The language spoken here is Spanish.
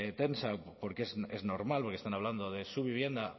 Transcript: tensa porque es normal porque están hablando de su vivienda